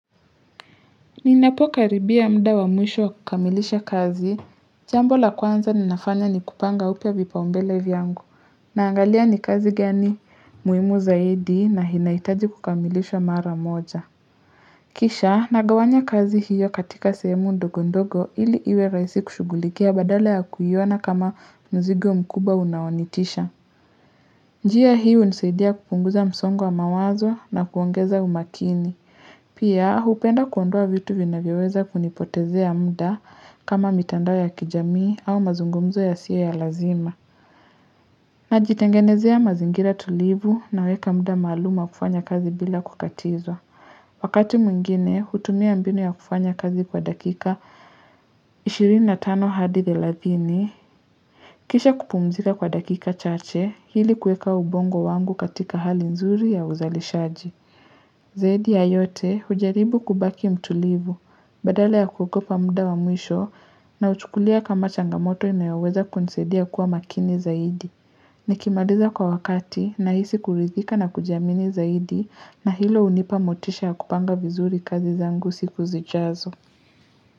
Ninapo karibia muda wa mwisho wa kukamilisha kazi, jambo la kwanza ninafanya ni kupanga upya vipaumbele vyangu. Naangalia ni kazi gani muhimu zaidi na inahitaji kukamilishwa mara moja. Kisha nagawanya kazi hiyo katika sehemu ndogo ndogo ili iwe rahisi kushugulikia badala ya kuiona kama mzigo mkubwa unaonitisha. Njia hii hunisaidia kupunguza msongo wa mawazo na kuongeza umakini. Pia, hupenda kuondoa vitu vinavyo weza kunipotezea muda kama mitandao ya kijamii au mazungumzo yasio ya lazima. Najitengenezea mazingira tulivu naweka muda maalum wa kufanya kazi bila kukatizwa. Wakati mwingine, hutumia mbinu ya kufanya kazi kwa dakika 25 hadi 30. Kisha kupumzika kwa dakika chache, ili kuweka ubongo wangu katika hali nzuri ya uzalishaji. Zaidi ya yote, hujaribu kubaki mtulivu, badala ya kuogopa muda wa mwisho nauchukulia kama changamoto inayoweza kunisaidia kuwa makini zaidi. Nikimaliza kwa wakati nahisi kurithika na kujiamini zaidi na hilo hunipa motisha ya kupanga vizuri kazi zangu siku zijazo.